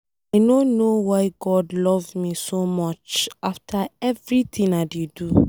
I no know why God love me so much, after everything I dey do.